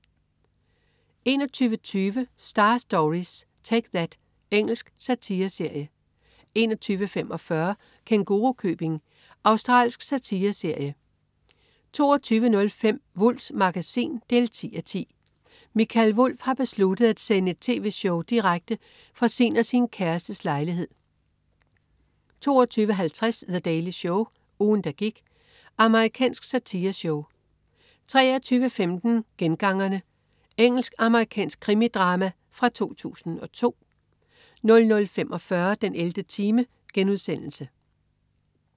21.20 Star Stories: Take That. Engelsk satireserie 21.45 Kængurukøbing. Australsk satireserie 22.05 Wulffs Magasin 10:10. Mikael Wulff har besluttet at sende et tv-show direkte fra sin og sin kærestes lejlighed 22.50 The Daily Show. Ugen der gik. Amerikansk satireshow 23.15 Gengangerne. Engelsk-amerikansk krimidrama fra 2002 00.45 den 11. time*